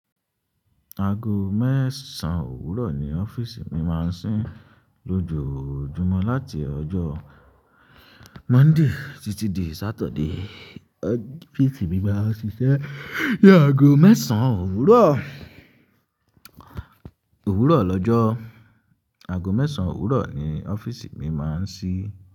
Aago mẹ́sàn ówúrọ̀ ni ọ́fíìsì mi máa ń ṣí. Lójojúmọ́ láti ọjọ́ Monday títí di Saturday, ọ́fíìsì mi máa ń ṣiṣẹ́ ní aago mẹ́sàn ówúrọ̀. Òwúrọ̀ lọ́jọ́, aago mẹ́sàn ówúrọ̀ ni ọ́fíìsì mi máa ń ṣí.